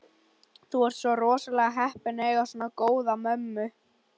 Þú ert rosalega heppinn að eiga svona góða mömmu.